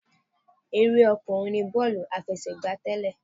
Eré ọkùnrin ní bọ́ọ̀lù àfẹsẹ̀gbá tẹ́lẹ̀.